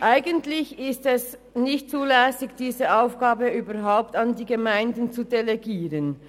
Eigentlich ist es nicht zulässig, diese Aufgabe überhaupt an die Gemeinden zu delegieren.